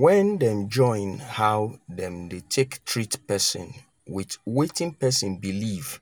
when dem join how them dey take treat person with wetin person believe